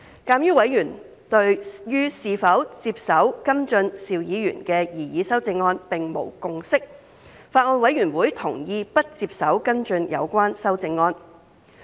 鑒於委員對於是否接手跟進邵議員的擬議修正案並無共識，法案委員會同意不接手跟進有關修正案。